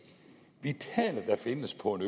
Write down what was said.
vitale der findes på en